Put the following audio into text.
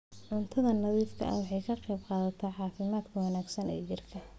Cunto nadiif ah waxay ka qaybqaadataa caafimaadka wanaagsan ee jidhka.